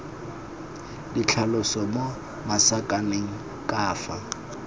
ditlhaloso mo masakaneng ka fa